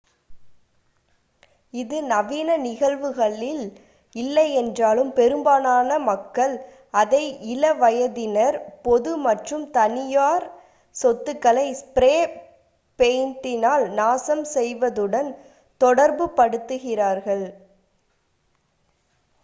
அது நவீன நிகழ்வுகளில் இல்லையென்றாலும் பெரும்பாலான மக்கள் அதை இள வயதினர் பொது மற்றும் தனியார் சொத்துக்களை ஸ்ப்ரே பெயிண்டால் நாசம் செய்வதுடன் தொடர்பு படுத்துகிறார்கள்